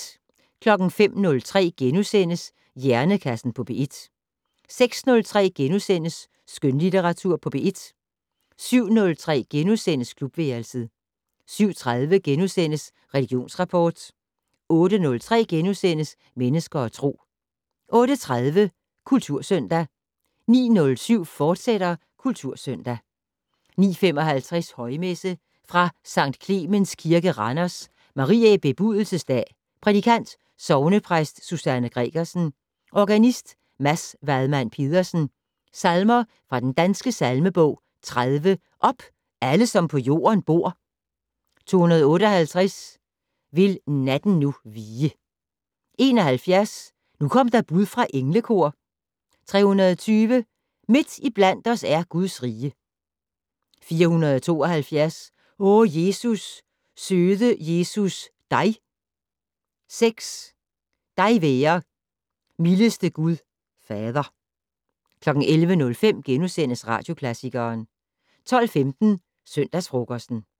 05:03: Hjernekassen på P1 * 06:03: Skønlitteratur på P1 * 07:03: Klubværelset * 07:30: Religionsrapport * 08:03: Mennesker og Tro * 08:30: Kultursøndag 09:07: Kultursøndag, fortsat 09:55: Højmesse - Fra Sct. Clemens Kirke, Randers. Mariæ Bebudelses Dag. Prædikant: Sognepræst Susanne Gregersen. Organist: Mads Wadmann Pedersen. Salmer fra Den Danske Salmebog: 30 "Op, alle som på jorden bor". 258 "Vil natten nu vige". 71 "Nu kom der bud fra englekor". 320 "Midt iblandt os er Guds rige". 472 "O Jesus, søde Jesus, dig". 6 "Dig være, mildeste Gud Fader". 11:05: Radioklassikeren * 12:15: Søndagsfrokosten